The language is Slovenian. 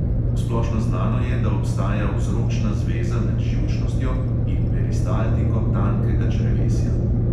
Splošno znano je, da obstaja vzročna zveza med živčnostjo in peristaltiko tankega črevesja.